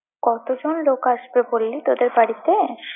কতজন লোক আসবে বললি তোদের বাড়িতে?